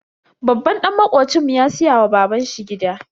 Babban dan makocinmu ya siya wa baban shi gida.